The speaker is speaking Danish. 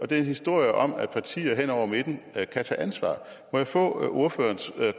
det er en historie om at partier hen over midten kan tage ansvar må jeg få ordførerens